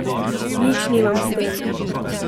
Nič nimam s tem.